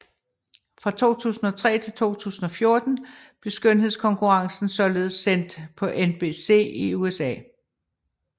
Fra 2003 til 2014 blev skønhedskonkurrencen således sendt på NBC i USA